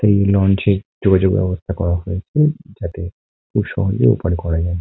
এই লঞ্চ এ যোগাযোগ ব্যবস্থা করা হয়েছে যাতে খুব সহজে ওপারে করা যায়।